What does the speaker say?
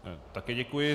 Také děkuji.